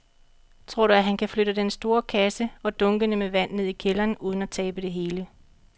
Tror du, at han kan flytte den store kasse og dunkene med vand ned i kælderen uden at tabe det hele?